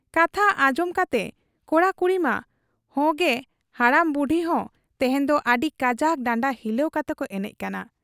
ᱠᱟᱛᱷᱟ ᱟᱸᱡᱚᱢ ᱠᱟᱛᱮ ᱠᱚᱲᱟ ᱠᱩᱲᱤᱢᱟ ᱦᱮᱸᱜᱮ ᱦᱟᱲᱟᱢ ᱵᱩᱰᱷᱤ ᱦᱚᱸ ᱛᱮᱦᱮᱧ ᱫᱚ ᱟᱹᱰᱤ ᱠᱟᱡᱟᱠ ᱰᱟᱸᱰᱟ ᱦᱤᱞᱟᱹᱣ ᱠᱟᱛᱮᱠᱚ ᱮᱱᱮᱡ ᱠᱟᱱᱟ ᱾